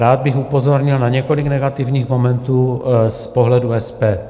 Rád bych upozornil na několik negativních momentů z pohledu SPD.